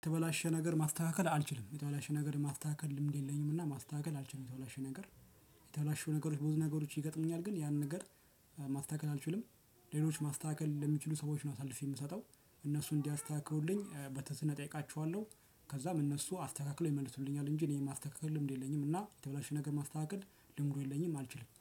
የተበላሸ ነገር ማስተካከል አልችልም የተበላሸ ነገር ማስተካከል ልምድ የለኝም እና ማስተካከል አልችልም የተበላሸ ነገር የተበላሸው ነገሮች ብዙ ነገሮች ይገጥሙኛል ግን ያንን ነገር ማስተካከል አልችልም። ሌሎች ማስተካከል ለሚችሉ ሰዎች ነው አሳልፌ የምሰጠው እነሱ እንዲያስተካክሉልኝ በተዝነህ እጠይቃቸዋለሁ ከዛም እነሱ አስተካክለው ይመልሱልኛል እንጂ እኔ የማስተካክል ልምድ የለኝም። እና የተበላሽ ነገር ማስተካከል ልምዱ የለኝም አልችልም